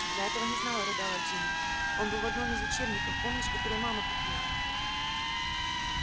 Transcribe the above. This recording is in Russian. я этого не знала рыдала джинни он был в одном из учебников помнишь которые мама купила